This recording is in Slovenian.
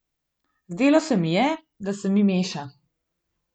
Zdelo se mi je, da se mi meša.